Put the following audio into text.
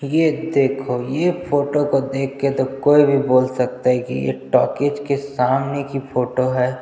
ये देखो ये फोटो को देख के तो कोई भी बोल सकता है की ये टॉकीज के सामने की फोटो है।